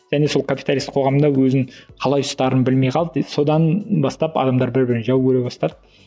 және сол капиталистік қоғамда өзін қалай ұстарын білмей қалды содан бастап адамдар бір бірін жау көре бастады